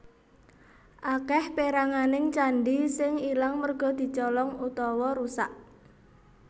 Akèh péranganing candhi sing ilang merga dicolong utawa rusak